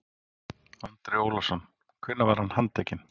Andri Ólafsson: Hvenær var hann handtekinn?